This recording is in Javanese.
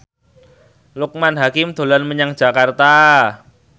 Loekman Hakim dolan menyang Jakarta